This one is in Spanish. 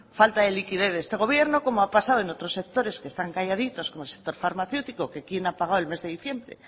falta de liquidez de este gobierno como ha pasado en otros sectores que están calladitos como el sector farmacéutico que quien ha pagado el mes de diciembre